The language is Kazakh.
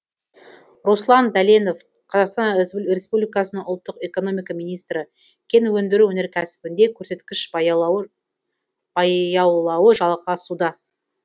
руслан дәленов қазақстан респбликасы ұлттық экономика министрі кен өндіру өнеркәсібінде көрсеткіш баяулауы жалғасуда